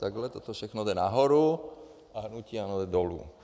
Takhle toto všechno jde nahoru - a hnutí ANO jde dolů.